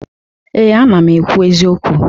Ee, ana m ekwu eziokwu.